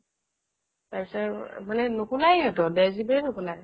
তাৰপিছত নোকোলাই সিহঁতৰ ডেৰ gb ৰে নোকোলাই